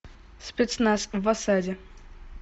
спецназ в осаде